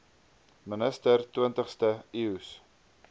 minister twintigste eeus